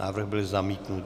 Návrh byl zamítnut.